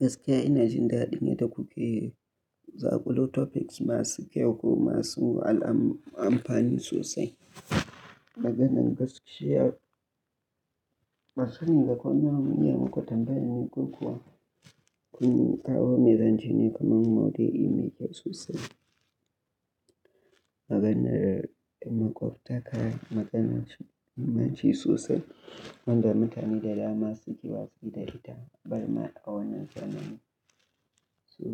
Gaskiya ina jin daɗin yadda kuke zaƙulo topics masu kyau kuma masu al amfani sosai. Maganar gaskiya, ban sani ba ko dan inai muku tambayar ne ko kuwa kun kawo mu zance ne kaman maudu'i mai kyau sosai. Maganar makwabtaka maganar ce mai mahimanci sosai wanda mutane da dama suke wasu da ita, barmar a wannan zamani. So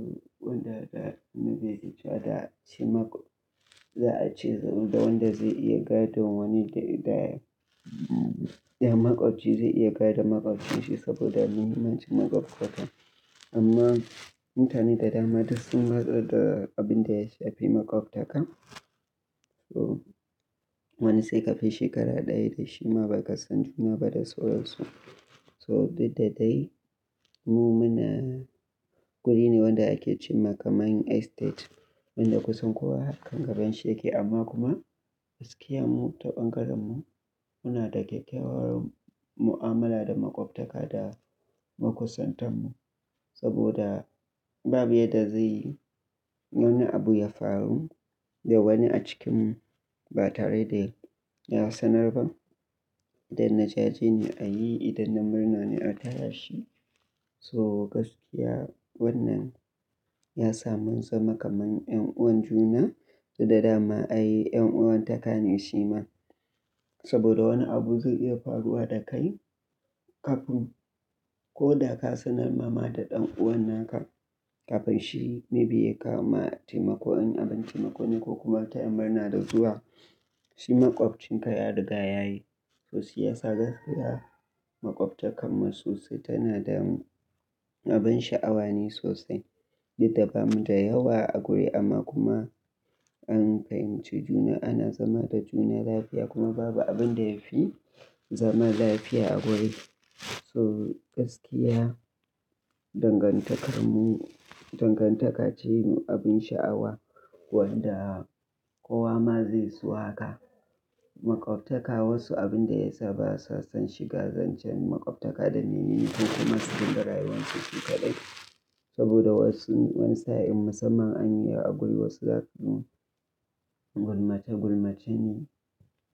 wanda na nabe jiya da a ce makwa-- za a ce da wanda zai iya gadon wani da, da makwabci zai iya gadon makwabcinsa saboda mahimmanci makwabtaka. Amma mutane da dama dasun watsar da abin da ya shafi makwabtaka. So wani sai kafi shekara ɗaya da shi ma ba ka san juna ba da sauransu. So duk da dai mu muna guri ne wanda ake ce ma kamar main estate wanda kusan kowa harkan gaban shi yake amma kuma gaskiya mu ta bangaren mu muna da kyakkyawar mu'amala da makwabtaka da makusantan mu saboda babu yadda zai yi wani abu ya faru da wani a cikinmu ba tare da ya sanar ba. Idan na jaje ne a yi, idan na murna ne a taya shi. So gaskiya wannan yasa mun zama kamar ƴan'uwan juna, duk da dama ai ƴan'uwantaka ne shi ma. Saboda wani abu zai iya faruwa da kai kafin ko da ka sanar ma ma da ɗan'uwan naka kafin shi maybe ya kama taimakon abin taimako ne ko kuma taya murna da zuwa, shi makwabcinka ya riga ya yi. So shi yasa gaskiya makwabtakamu sosai tana da abin sha'awa ne sosai. Duk da bamu da yawa a guri amma kuma an fahimci juna ana zama da juna lafiya kuma babu abin da ya fi zama lafiya a guri. So gaskiya dangantakar mu, dangantaka ce me abin sha'awa wanda kowa ma zai so haka. Makwabtaka wasu abin da ya sa ba su san shiga zancen makwabtaka da na himanci kuma su dinga rayuwansu su kadai. Saboda wasu, wani sa'in musamman an yi a guri wasu za su gulmace gulmace ne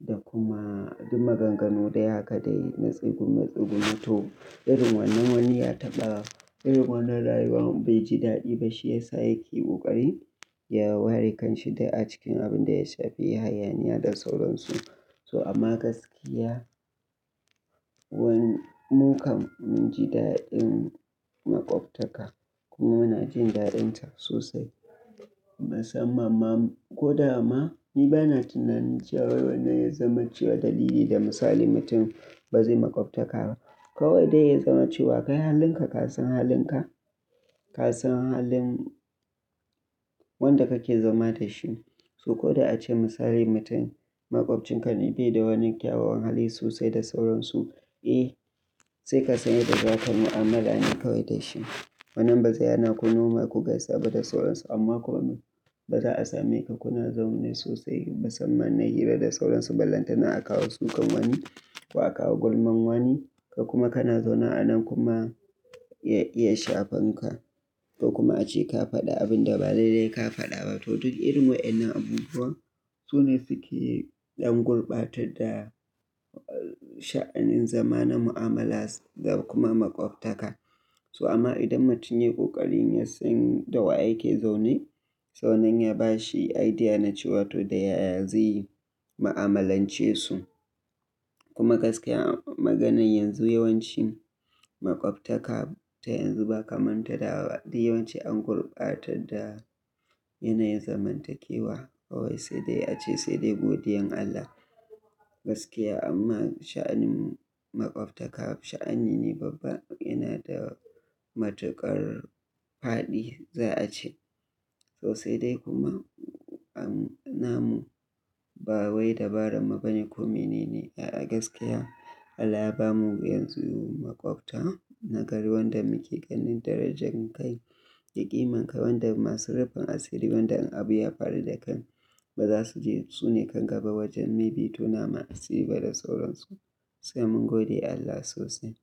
da kuma duk maganganu dai haka dai na tsegume-tsegume to irin wannan wani ya taɓa irin wannan rayuwa baiji daɗi ba shi ya sa yake ƙoƙarin ya ware kanshi da a cikin abin da ya shafi hayaniya da sauransu. So amma gaskiya, wani mu kam mun ji daɗin makwabtaka kuma muna jin daɗinta sosai. Musamman ma ko da ma ni bana tunanin jiya wai wanne ya zama cewa dalili da misali mutum ba zai makwabtaka ba. Kawai dai ya zama cewa kai halinka ka san halinka, ka san halin wanda kake zama da shi. So ko da ace misali mutum makwabcinka ne bai da wani kyawawan hali sosai da sauransu, eh sai ka san yadda za ka mu'amala ne kawai da shi. Wannan ba zai hana ku noma ku gaisa ba da sauransu amma kuma ba za a same ka kuna zaune sosai musamman na hira da sauransu. Bellanta na a kawo sukan wani ko a kawo gulman wani ka kuma kana zaune a nan kuma ya iya shafanka. To kuma ace ka faɗi abin da ban daidai ka faɗa ba. To duk irin waƴannan abubuwa su ne suke ɗan gurbatar da sha'anin zama na mu'amala da kuma makwabtaka. So amma idan mutum ya yi ƙoƙarin ya san da wa yake zaune, so wannan ya ba shi idea na cewa to da yaya zai mu'amalance su. Kuma gaskiya maganar yanzu yawanci makwabtaka ta yanzu ba kamar ta da ba. Duk yawanci an gurbatar da yanayin zamantakewa kawai sai dai ace sai dai godiyan Allah. Gaskiya amma sha'anin makwabtaka sha'ani ne babba yana da matuƙar faɗi za'a ce. To sai dai kuma an, na mu ba wai dabaran mu bane ko mene ne. A'a gaskiya Allah ya bamu yanzu makwabta nagari wanda muke ganin darajan kai, da ƙimanka wanda masu rufin asiri wanda in abu ya faru da kai ba za su je su ne kan gaba wajen maybe tonama asiri ba da sauransu. Sai mun gode Allah sosai.